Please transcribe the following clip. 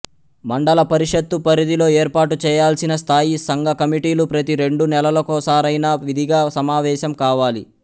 మండల పరిషత్తు పరిధిలో ఏర్పాటుచేయాల్సిన స్థాయి సంఘ కమిటీలు ప్రతి రెండు నెలలకోసారైనా విధిగా సమావేశం కావాలి